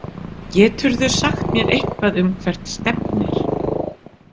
Geturðu sagt mér eitthvað um hvert stefnir?